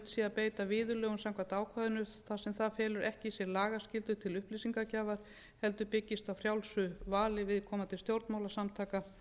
beita viðurlögum samkvæmt ákvæðinu þar sem það felur ekki í sér lagaskyldu til upplýsingagjafar heldur byggist á frjálsu vali viðkomandi stjórnmálasamtaka